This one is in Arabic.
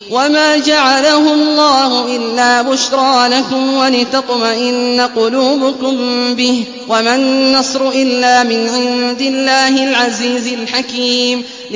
وَمَا جَعَلَهُ اللَّهُ إِلَّا بُشْرَىٰ لَكُمْ وَلِتَطْمَئِنَّ قُلُوبُكُم بِهِ ۗ وَمَا النَّصْرُ إِلَّا مِنْ عِندِ اللَّهِ الْعَزِيزِ الْحَكِيمِ